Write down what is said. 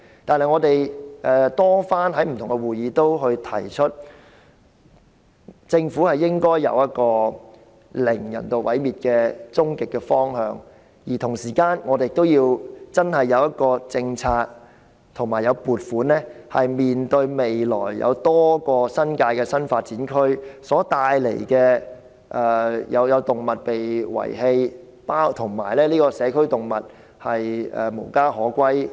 但是，我們在不同的會議上均多番提出，政府的終極方向應該是"零人道毀滅動物"，而同時，我們亦要有政策和撥款，以面對未來多個新界的新發展區所帶來的問題，包括動物被遺棄、社區動物無家可歸。